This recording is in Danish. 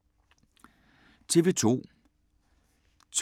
TV 2